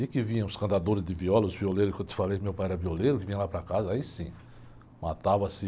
E que vinham os cantadores de viola, os violeiros que eu te falei, meu pai era violeiro, que vinha lá para casa, aí sim, matava-se...